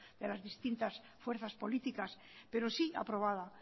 de las distintas fuerzas políticas pero sí aprobada